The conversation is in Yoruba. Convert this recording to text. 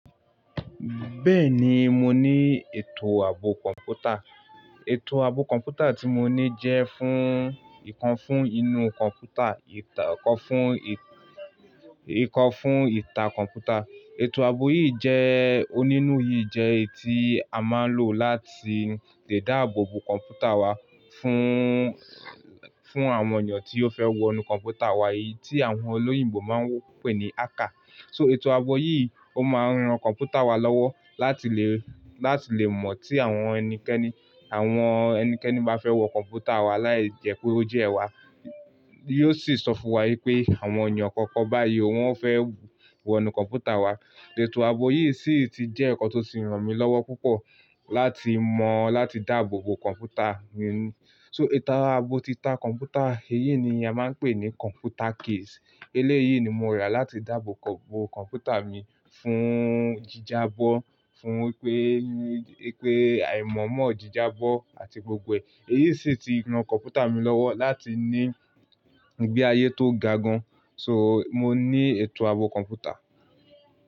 Bẹ́ẹ̀ ni, mo ní ètò ààbò kọ̀ǹpútà. Ètò ààbò kọ̀ǹpútà tí mo ní jẹ́ fún ìkan fún inú kọ̀ǹpútà, ikan fun ìkan fún ìtá kọ̀ǹpútà. Ètò ààbò yìí jẹ́, onínú yìí jẹ́ èyí tí a máa ń lò láti lè dáàbò bo kọ̀ǹpútà wa fún, fún àwọn èyan tí ó fẹ́ wọ inú kọ̀ǹpútà wa, èyí tí àwọn olóyìnbo máa ń pè ní hacker. So ètò ààbò yìí ó máa ń ran kọ̀ǹpútà wa lọ́wọ́ láti lè, láti lè mọ̀ tí àwọn ẹnikẹ́ni, àwọn ẹnikẹ́ni bá fẹ́ wọ kọ̀ǹpútà wa, láì jẹ́ pé ó jẹ́ ẹ̀ wa. Yóò sì sọ fún wa wípé àwọn èyan kọ̀ọ̀kan báyìí ò wọ́n fẹ́ wọ inú kọ̀ǹpútà wa. Ètò ààbò yìí sì ti jẹ́ ǹkan tó ti ràn mí lọ́wọ́ púpọ̀ láti mọ̀ láti dáàbò bo kọ̀ǹpútà mi. So ètò ààbò títa kọ̀ǹpútà, èyí ni a máa ń pè ní kọ̀ǹpútà case. Eléyìí ni mo rà láti dáàbò bo kọ̀ǹpútà mi fún jíjábọ́, fún pé, pé àìmọ̀ọ́mọ̀ jíjábọ́ àti gbogbo ẹ̀. Èyí sì ti ran kọ̀ǹpútà mi lọ́wọ́ láti ní ìgbé ayé tó ga gan. So mo ní ètò ààbò kọ̀ǹpútà.